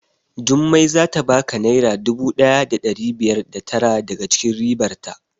Jummai zata baka naira dubu ɗaya da ɗari biyar da tara daga cikin ribar ta